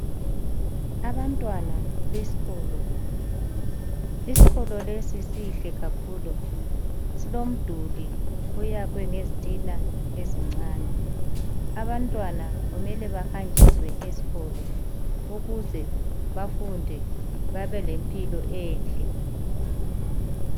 Abantwana besikolo. Iskolo lesi sihle kakhulu. Silomduli oyakhwe ngezitina ezincane. Abantwana kumele bahanjiswe esikolo, ukuze bafunde babelempilo enhle.